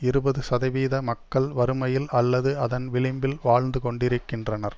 இருபது சதவீத மக்கள் வறுமையில் அல்லது அதன் விளிம்பில் வாழ்ந்து கொண்டிருக்கின்றனர்